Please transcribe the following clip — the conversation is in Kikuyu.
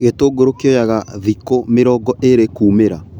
Gĩtungũru kioyaga thikũ mĩringo ĩrĩ kumĩra.